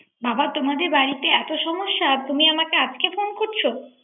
বাবা তোমাদের বাড়িতে এত সমস্যা তুমি আমাকে আজকে ফোন করছো